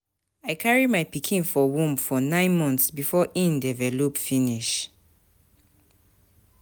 I carry my pikin for womb for nine months before im develop finish.